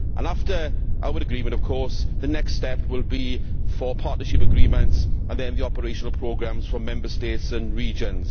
And after our agreement, the next step will be for partnership agreements and then the operational programmes for Member States and regions.